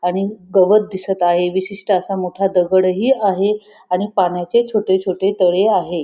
आणि गवत दिसत आहे विशिष्ट असा मोठा दगडही आहे आणि पाण्याचे छोटे छोटे तळे आहे.